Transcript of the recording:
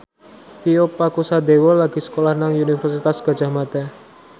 Tio Pakusadewo lagi sekolah nang Universitas Gadjah Mada